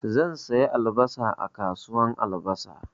Zan saya albasa a kasuwan albasa.